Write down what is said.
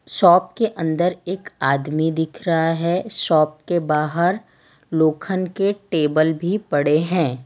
Shop के अंदर एक आदमी दिख रहा है शॉप के बाहर लोखंड के टेबल भी पड़े हैं।